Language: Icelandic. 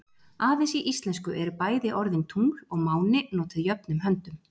Aðeins í íslensku eru bæði orðin tungl og máni notuð jöfnum höndum.